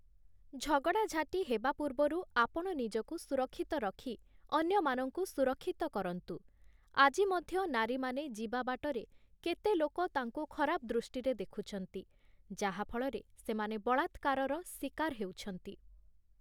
ଝଗଡ଼ା ଝାଟି ହେବା ପୂର୍ବରୁ ଆପଣ ନିଜକୁ ସୁରକ୍ଷିତ ରଖି ଅନ୍ୟମାନଙ୍କୁ ସୁରକ୍ଷିତ କରନ୍ତୁ । ଆଜି ମଧ୍ୟ ନାରୀମାନେ ଯିବା ବାଟରେ କେତେ ଲୋକ ତାଙ୍କୁ ଖରାପ ଦୃଷ୍ଟିରେ ଦେଖୁଛନ୍ତି ଯାହା ଫଳରେ ସେମାନେ ବଳାତ୍କାରର ଶିକାର ହେଉଛନ୍ତି ।